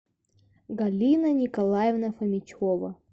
галина николаевна фомичева